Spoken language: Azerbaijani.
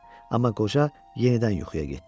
Amma qoca yenidən yuxuya getdi.